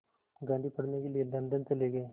गांधी पढ़ने के लिए लंदन चले गए